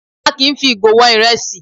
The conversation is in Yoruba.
A kì í fi ìgò wọn ìrẹsì